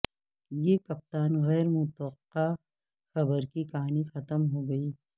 یہ کپتان غیر متوقع خبر کی کہانی ختم ہو گئی